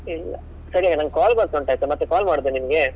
ಇಲ್ಲ, ಸರಿ ನಂಗೆ ಒಂದು call ಬರ್ತ ಉಂಟು ಆಯ್ತಾ ಮತ್ತೆ call ಮಾಡುದ ನಿನ್ಗೆ?